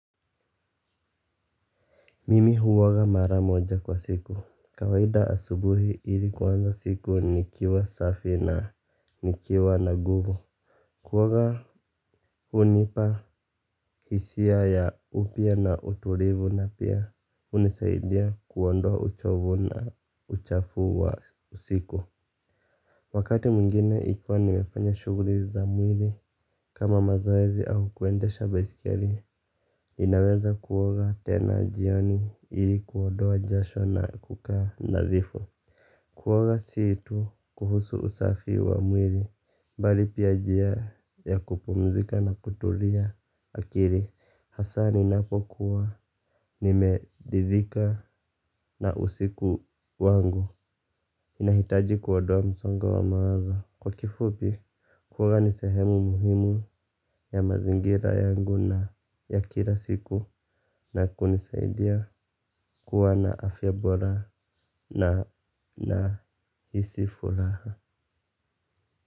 Mimi huoga mara moja kwa siku. Kawaida asubuhi ili kuanza siku nikiwa safi na nikiwa na nguvu. Kuoga unipa hisia ya upya na utulivu na pia unisaidia kuondoa uchovu na uchafu wa siku. Wakati mwingine ikiwa nimefanya shuguli za mwili kama mazoezi au kuendesha baiskeli. Ninaweza kuoga tena jioni ili kuondoa jasho na kukaa nadhifu. Kuoga si tu kuhusu usafi wa mwili bali pia njia ya kupumzika na kutulia akili asa ninapokuwa nimeridhika na usiku wangu nahitaji kuondoa msongo wa mawazo. Kwa kifupi kuoga nisehemu muhimu ya mazingira yangu na ya kila siku na kunisaidia kuwa na afya bora na nahisi furaha.